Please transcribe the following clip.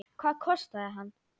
Hvað kostaði hann?